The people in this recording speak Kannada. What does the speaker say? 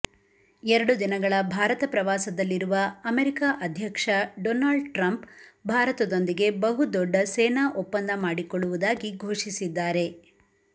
ಎರಡು ದಿನಗಳ ಭಾರತ ಪ್ರವಾಸದಲ್ಲಿರುವ ಅಮೆರಿಕ ಅಧ್ಯಕ್ಷ ಡೊನಾಲ್ಡ್ ಟ್ರಂಪ್ ಭಾರತದೊಂದಿಗೆ ಬಹುದೊಡ್ಡ ಸೇನಾ ಒಪ್ಪಂದ ಮಾಡಿಕೊಳ್ಳುವುದಾಗಿ ಘೋಷಿಸಿದ್ದಾರೆ